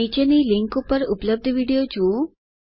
નીચે આપેલ લીન્ક ઉપર ઉપલબ્ધ વિડીઓ જુઓ